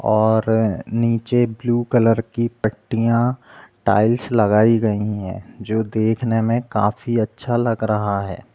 और नीचे blue colour की पट्टियाँ टाइल्स लगाई गई है जो देखने में काफी अच्छा लग रहा हैं।